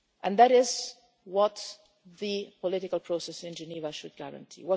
is it. That is what the political process in Geneva should guarantee.